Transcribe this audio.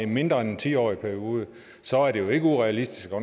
mindre end en ti årig periode så er det jo ikke urealistisk at